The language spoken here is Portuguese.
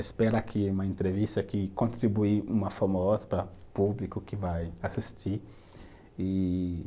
Espera que uma entrevista que contribui, uma forma ou outra para o público que vai assistir e